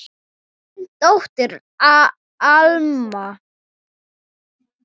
Þín dóttir, Alma.